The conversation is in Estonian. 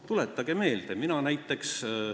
Tuletage meelde!